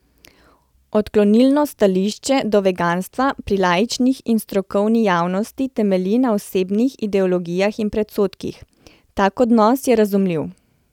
Odklonilno stališče do veganstva pri laični in strokovni javnosti temelji na osebnih ideologijah in predsodkih: 'Tak odnos je razumljiv.